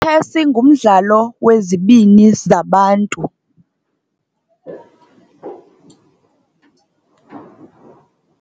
tshesi ngumdlalo wezibini zabantu.